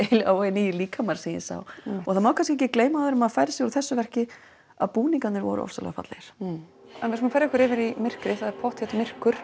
nýir líkamar sem ég sá og það má kannski ekki gleyma áður en maður færir sig úr þessu verki að búningarnir voru ofsalega fallegir en við skulum færa okkur yfir í myrkrið það er pottþétt myrkur